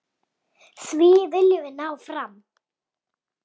Því viljum við ná fram.